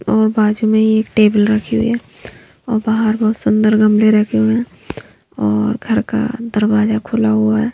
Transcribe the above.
और बाजू में ही एक टेबल रखी हुई है और बाहर बहुत सुंदर गमले रखे हुए हैं और घर का दरवाजा खुला हुआ है।